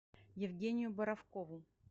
евгению боровкову